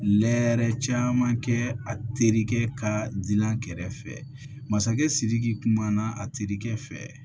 Lɛɛrɛ caman kɛ a terikɛ ka di a kɛrɛfɛ masakɛ sidiki kumana a terikɛ fɛ